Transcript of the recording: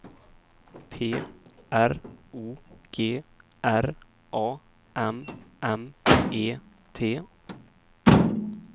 P R O G R A M M E T